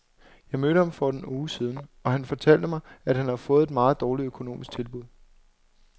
Jeg mødte ham for en uge siden, og han fortalte mig, at han havde fået et meget dårligt økonomisk tilbud.